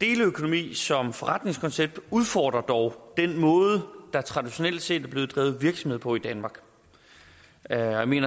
deleøkonomi som forretningskoncept udfordrer dog den måde der traditionelt set er blevet drevet virksomhed på i danmark jeg mener